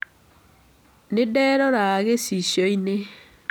Nĩ nderora gĩcicio-inĩ.